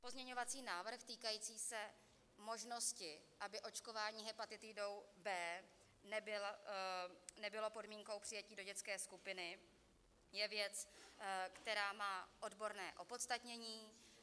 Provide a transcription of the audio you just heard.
Pozměňovací návrh týkající se možnosti, aby očkování hepatitidou B nebylo podmínkou přijetí do dětské skupiny, je věc, která má odborné opodstatnění.